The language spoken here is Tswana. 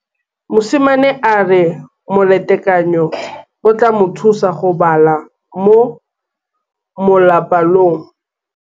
Mosimane a re molatekanyô o tla mo thusa go bala mo molapalong.